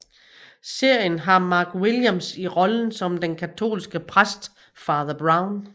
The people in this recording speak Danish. Serien har Mark Williams i rollen som den katolske præst Father Brown